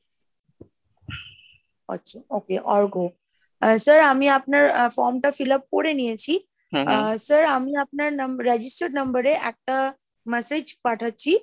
আচ্ছা okay Arghya ah sir আমি আপনার form টা fill up করে নিয়েছি , আহ sir আমি আপনার registered number এ একটা message পাঠাচ্ছি ,